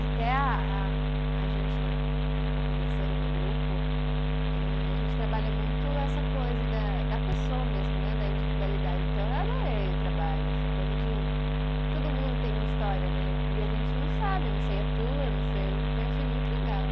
Até a a, a gente na na companhia Ser, o meu grupo, eh, a gente trabalha muito essa coisa da da pessoa mesmo, né, da individualidade, então eu adorei o trabalho, essa coisa de, todo mundo tem uma história né, e e a gente não sabe, eu não sei a tua, eu não sei, então eu achei muito legal.